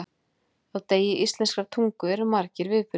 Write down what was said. Á degi íslenskrar tungu eru margir viðburðir.